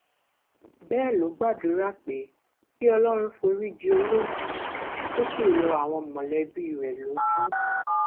bẹẹ ló gbàdúrà pé kí ọlọrun forí ji olóògbé kó sì rọ àwọn mọlẹbí rẹ lójú